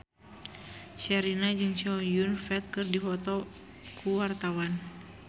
Sherina jeung Chow Yun Fat keur dipoto ku wartawan